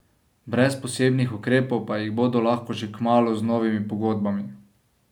Brez posebnih ukrepov pa jih bodo lahko že kmalu z novimi pogodbami.